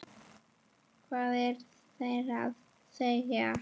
Hvað eru þeir að segja?